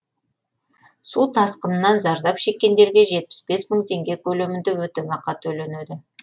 су тасқынынан зардап шеккендерге жетпіс бес мың теңге көлемінде өтемақы төленеді